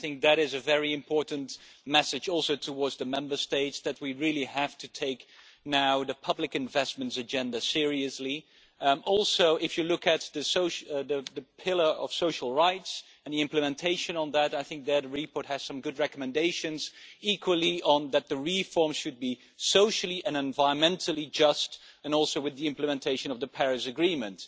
What is also a very important message to the Member States is that we really have to take the public investments agenda seriously now. Also, if you look at the Pillar of Social Rights and the implementation of that, I think the report has some good recommendations, equally that the reforms should be socially and environmentally just and also with the implementation of the Paris Agreement.